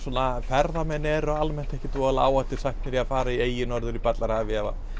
ferðamenn eru almennt ekki voðalega áhættusæknir að fara í eyju norður í ballarhafi ef